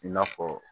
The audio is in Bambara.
I n'a fɔ